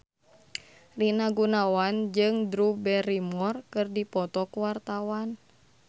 Rina Gunawan jeung Drew Barrymore keur dipoto ku wartawan